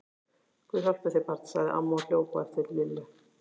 Guð hjálpi þér barn! sagði amma og hljóp á eftir Lillu.